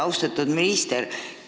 Austatud minister!